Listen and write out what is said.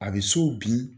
A bɛ so bin